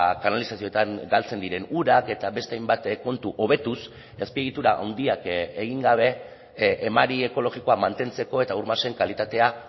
kanalizazioetan galtzen diren urak eta beste hainbat kontu hobetuz azpiegitura handiak egin gabe emari ekologikoa mantentzeko eta ur masen kalitatea